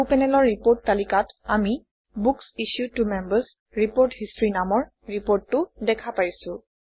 সোঁ পেনেলৰ ৰিপৰ্ট তালিকাত আমি বুক্স ইছ্যুড ত Members ৰিপোৰ্ট হিষ্টৰী নামৰ ৰিপৰ্টটো দেখা পাইছোঁ